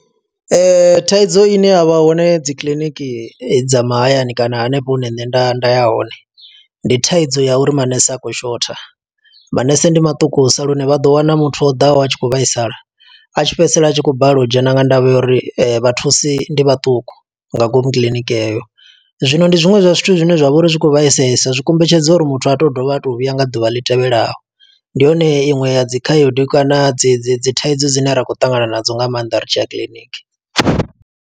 Thaidzo ine ya vha hone dzi kiḽiniki dza mahayani kana hanefho hune nṋe nda nda ya hone. Ndi thaidzo ya uri manese a khou shotha, manese ndi maṱukusa lune vha ḓo wana muthu o ḓaho a tshi khou vhaisala. A tshi fhedzisela a tshi khou balelwa u dzhena nga ndavha ya uri vha thusi ndi vhaṱuku, nga ngomu kiḽiniki heyo. Zwino ndi zwiṅwe zwa zwithu zwine zwa vha uri zwi khou vhaisesa, zwi kombetshedza uri muthu a to dovha a to vhuya nga ḓuvha ḽi tevhelaho. Ndi hone iṅwe ya dzi khaedu kana dzi dzi dzi thaidzo dzine ra khou ṱangana nadzo nga maanḓa ri tshiya kiḽiniki.